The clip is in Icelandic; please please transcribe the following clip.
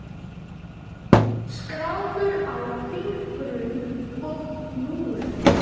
Skrámur á fingrum og hnúum.